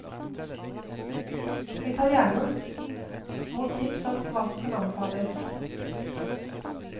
Vi tar gjerne mot tips om hva som kan anbefales.